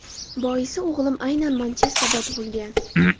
Boisi o‘g‘lim aynan Manchesterda tug‘ilgan.